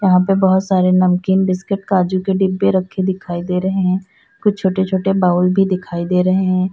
यहां पे बहुत सारे नमकीन बिस्किट काजू के डिब्बे रखें दिखाई दे रहे हैं कुछ छोटे छोटे बाउल भी दिखाई दे रहे हैं।